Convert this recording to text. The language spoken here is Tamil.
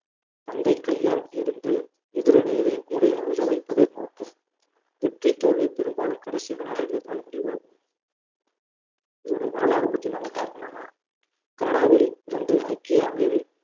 பந்தை கையால் எறிந்து எதிரணியரின் கூடையில் விழ வைப்பதே நோக்கம் வெற்றி தோல்வி பெரும்பாலும் கடைசி வினாடிகளில்தான் முடிவாகும் இதனுடைய வரலாறு பற்றி நாம பார்க்கணும்னா கனடாவில் இருந்து ஐக்கிய அமேரி~